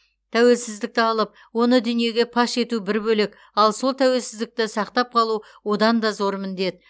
тәуелсіздікті алып оны дүниеге паш ету бір бөлек ал сол тәуелсіздікті сақтап қалу одан да зор міндет